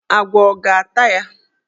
Agwọ ọ ga-ata ya?